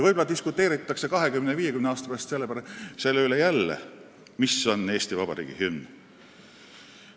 Võib-olla diskuteeritakse 20 või 50 aasta pärast jälle selle üle, mis on Eesti Vabariigi hümn.